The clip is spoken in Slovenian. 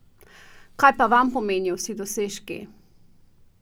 Kaj pa vam pomenijo vsi dosežki?